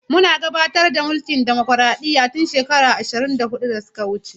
Muna gudanar da mulkin dimokraɗiyya tun shekaru ashirin da hudu da suka wuce.